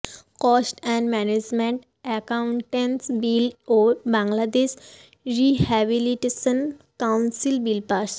cost and management accountants bill ও Bangladesh rehabilitation council bill pass